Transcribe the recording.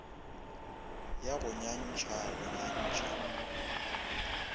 ya go nyantšha go nyantšha